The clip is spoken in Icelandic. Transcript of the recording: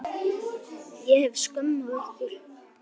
Ég hef skömm á ykkur.